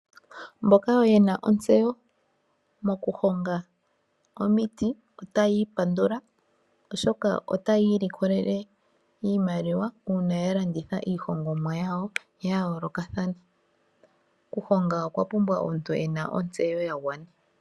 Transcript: Mboka yena ontseyo moku honga omiti otayi pandula oshoka otayi ilikolele iimaliwa uuna ya landitha iihongomwa yawo ya yoolokathana. Okuhonga okwa pumbwa omuntu ena ontseyo ya gwana.